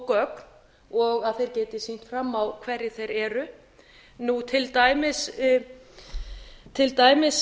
gögn og að þeir geti sýnt fram á hverjir þeir eru til dæmis